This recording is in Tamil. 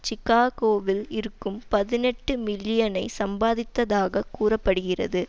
சிக்காகோவில் இருக்கும் பதினெட்டு மில்லியனை சம்பாதித்தாக கூற படுகிறது